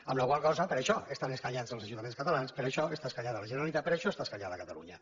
amb la qual cosa per això estan escanyats els ajuntaments catalans per això està escanyada la generalitat per això està escanyada catalunya